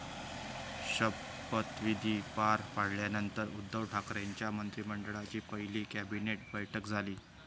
शपविधी पार पडल्यानंतर उद्धव ठाकरेंच्या मंत्रिमंडळाची पहिली कॅबिनेट बैठक झाली.